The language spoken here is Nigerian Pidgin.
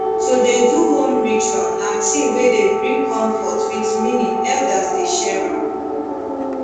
to dey do home ritual na thing wey dey bring comfort wit meaning elders dey share am